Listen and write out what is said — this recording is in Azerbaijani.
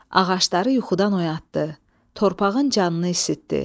Ağacları yuxudan oyatdı, torpağın canını isitdi.